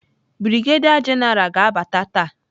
Brigadier general ga-abata taa.